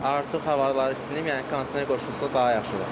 Artıq havalar isinib, yəni kondisioner qoşulsa daha yaxşı olar.